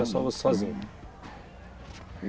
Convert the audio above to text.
Era só você sozinho.